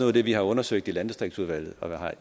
af det vi har undersøgt i landdistriktsudvalget